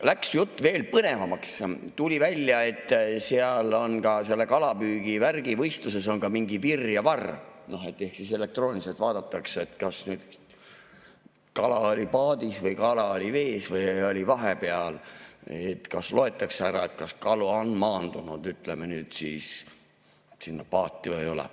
Läks jutt veel põnevamaks, tuli välja, et seal on ka kalapüügivärgi võistluses mingi virr ja varr ehk siis elektrooniliselt vaadatakse, kas kala oli paadis või kala oli vees või oli vahepeal, loetakse ära, kas kalu on maandunud sinna paati või ei ole.